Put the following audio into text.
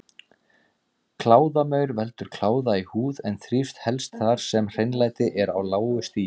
Kláðamaur veldur kláða í húð en þrífst helst þar sem hreinlæti er á lágu stigi.